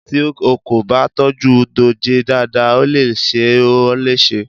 Tí o kò bá tọ́jú dòjé dáadáa, ó le ṣe ó léṣe.